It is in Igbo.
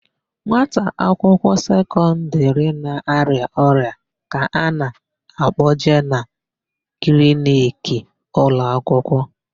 Nwata akwụkwọ sekọndịrị na-arịa ọrịa ka a na-akpọje na kliniki ụlọakwụkwọ.